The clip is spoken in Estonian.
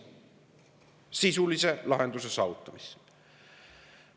Sisulise lahenduse saavutamisse!